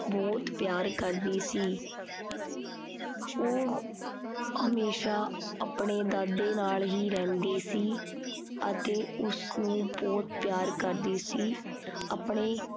ਬਹੁਤ ਪਿਆਰ ਕਰਦੀ ਸੀ। ਉਹ ਹਮੇਸ਼ਾ ਆਪਣੇ ਦਾਦੇ ਨਾਲ ਹੀ ਰਹਿੰਦੀ ਸੀ ਅਤੇ ਉਸਨੂੰ ਬਹੁਤ ਪਿਆਰ ਕਰਦੀ ਸੀ। ਆਪਣੇ